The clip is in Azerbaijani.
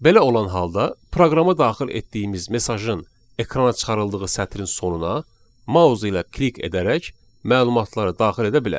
Belə olan halda proqrama daxil etdiyimiz mesajın ekrana çıxarıldığı sətrin sonuna mausa ilə klik edərək məlumatları daxil edə bilərik.